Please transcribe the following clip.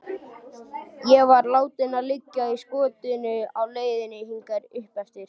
Ég var látinn liggja í skottinu á leiðinni hingað uppeftir.